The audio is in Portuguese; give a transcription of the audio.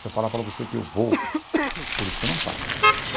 Se eu falar para você que eu vou... Por isso que eu não falo.